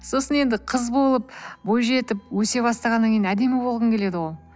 сосын енді қыз болып бойжетіп өсе бастағаннан кейін әдемі болғың келеді ғой